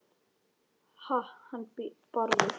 Ha- hann Bárður?